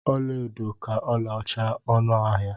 Ọlaedo ka ọlaọcha ọnụ ahịa.